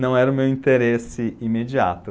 não era o meu interesse imediato.